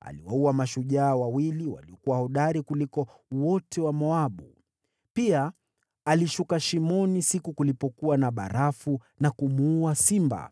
Aliwaua mashujaa wawili waliokuwa hodari kuliko wote wa Moabu. Pia alishuka shimoni kulipokuwa na theluji na kumuua simba.